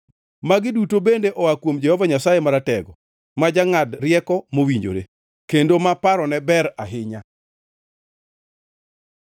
Magi duto bende oa kuom Jehova Nyasaye Maratego, ma jangʼad rieko mowinjore, kendo ma parone ber ahinya.